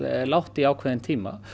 lágt í ákveðinn tíma